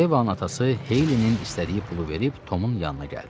Yeva anası Heylinin istədiyi pulu verib Tomun yanına gəldi.